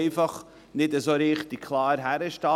Man will bloss nicht klar hinstehen.